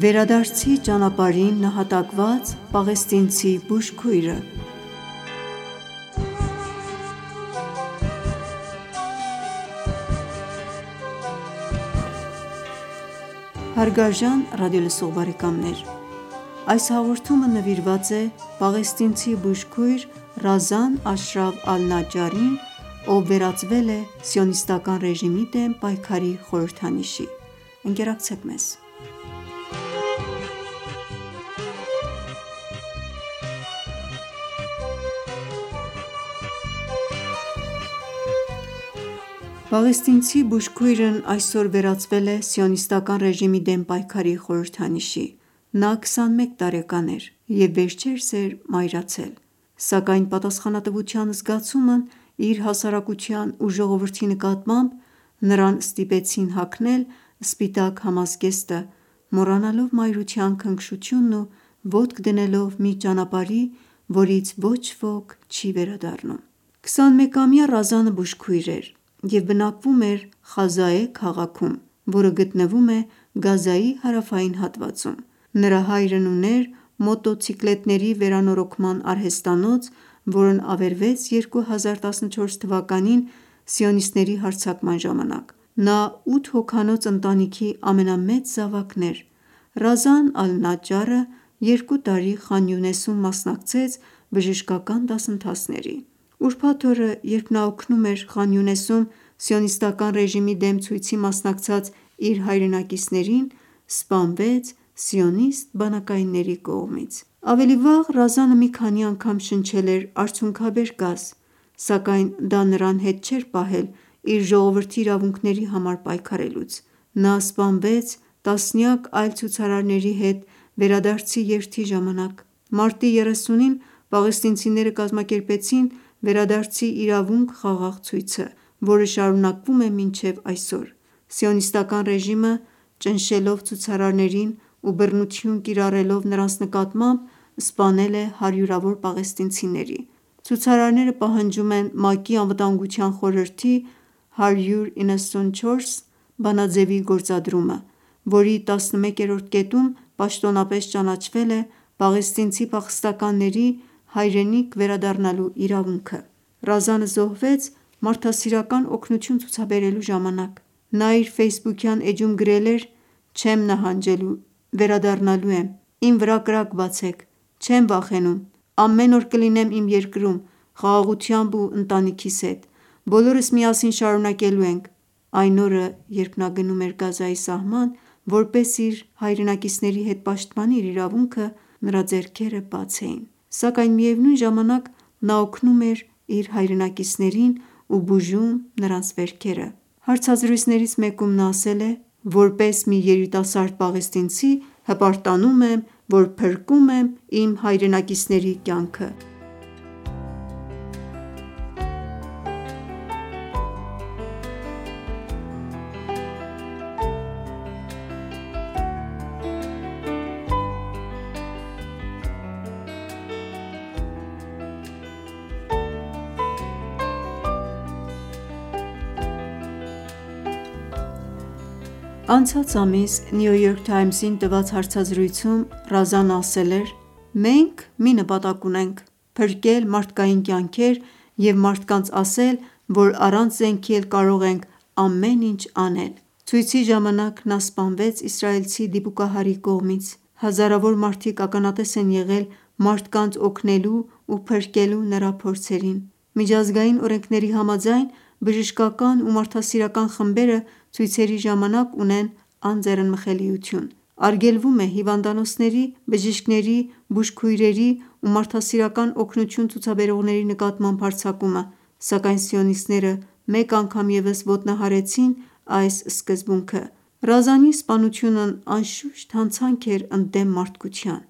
Վերադարձի ճանապարհին նահատակված պաղեստինցի բուժքույրը Այս հաղորդումը նվիրված է պաղեստինցի բուժքույր Ռազան Աշրաֆ Ալ-Նաջարին, ով վերածվել է Սիոնիստական ռեժիմի դեմ պայքարի խորհրդանիշի: Պաղեստինցի բուժքույրն այսօր վերածվել է Սիոնիստական ռեժիմի դեմ պայքարի խոհրհդանիշի: Նա 21 տարեկան էր և վերջերս էր մայրացել: Սակայն պատասխանատավության զգացումն իր հասարակության ու ժողովրդի նկատմամբ, նրան ստիպեցին հագնել սպիտակ համազգեստը, մոռանալով մայրության քնքշությունն ու ոտք դնելով մի ճանապարհի, որից ոչ ոք չի վերադառնում: 21-ամյա Ռազանը բուժքույր էր և բնակվում էր Խազաե քաղաքում, որը գտնվում է Գազայի հարավային հատվածում: Նրա հայրն ուներ մոտոցիկլետների վերանորոգման արհեստանոց, որն ավերվեց 2014թ սիոնիստների հարձակման ժամանակ: Նա 8 հոգանոց ընտանիքի ամենամեծ զավակն էր: Ռազան Ալ Նաջարը 2 տարի Խան Յունեսում մասնակցեց բժշկական դասընթացների: Ուրբաթ օրը, երբ նա օգնում էր Խան Յունեսում սիոնիստական ռեժիմի դեմ ցույցի մասնակցած իր հայրենակիցներին, սպանվեց սիոնիստ բանակայինների կողմից: Ավելի վաղ, Ռազանը մի քանի անգամ շնչել էր արցունքաբեր գազ, սակայն դա նրան հետ չէր պահել իր ժողովրդի իրավունքների համար այքարելուց: Նա սպանվեց տասնյակ այլ ցուցարարների հետ` “Վերադարձի երթ”-ի ժամանակ: Մարտի 30-ին պաղեստինցները կազմակերպեցին “Վերադարձի իրավունք” խաղաղ ցույցը, որը շարունակվում է մինչև այսօր: Սիոնիստական ռեժիմը, ճնշելով ցուցարարներին ու բռնություն կիրառելով նրանց նկատմամբ, սպանել է հարյուրավոր պաղեստինցիների: Ցուցարարները պահանջում են ՄԱԿ-ի ԱԽ թիվ194 բանաձևի գործադրումը, որի 11-րդ կետում պաշտոնապես ճանաչվել է պաղեստինցի փախստականների հայրենիք վերադառնալու իրավունքը: Ռազանը զոհվեց մարդասիրական օգնություն ցուցաբերելու ժամանակ: Նա իր ֆեյսբուքյան էջում գրել էր. “Չեմ նահանջելու, վերադառնալու եմ: Իմ վրա կրակ բացեք: Չեմ վախենում: Ամեն օր կլինեմ իմ երկրում, խաղաղությամբ ու ընտանիքիս հետ: Բոլորս միասին շարունակելու ենք”: Այն օրը, երբ նա գնում էր Գազայի սահման, որպեսզի իր հայրենակիցների հետ պաշտպանի իր իրավունքը, նրա ձեռքերը բաց էին: Սակայն միևնույն ժամանակ նա օգնում էր իր հայրենակիցներին ու բուժում նրանց վերքերը: Հարցազրույցներից մեկում նա ասել է. “Որպես մի երիտասարդ պաղեստինցի, հպարտանում եմ, որ փրկում եմ իմ հայրենակիցների կյանքը”: Անցած ամիս New York Times-ին տված հարցազրույցում, Ռազանը ասել էր. “Մենք մի նպատակ ունենք` փրկել մարդկային կյանքեր և մարդկանց ասել, որ առանց զենքի էլ կարող ենք ամեն ինչ անել”: Ցույցի ժամանակ նա սպանվեց իսրայելցի դիպուկահարի կողմից: Հազարավոր մարդիկ ականատես են եղել մարդանց օգնելու ու փրկելու նրա փորձերին: Միջազգային օրենքների համաձայն, բժշկական ու մարդասիրական խմբերը ցույցերի ժամանակ ունեն անձեռնմխելիություն: Արգելվում է հիվանդանոցների, բժիշկների, բուժքույրերի ու մարդասիրական օգնություն ցուցաբերողների նկատմամբ հարձակումը: Սակայն սիոնսիտները մեկ անգամ ևս ոտնահարեցին այս սկզբունքը: Ռազանի սպանությունն անշուշտ հանցանք էր` ընդդեմ մարդկության